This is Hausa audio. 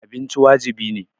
Abinci wajibi ne.